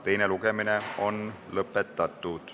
Teine lugemine on lõpetatud.